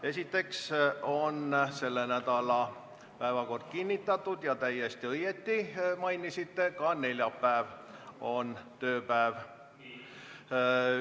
Esiteks on selle nädala päevakord kinnitatud, ja täiesti õigesti mainisite, et ka neljapäev on tööpäev.